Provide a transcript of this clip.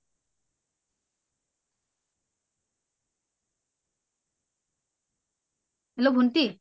hello ভন্টি